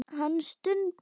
Hann stundi.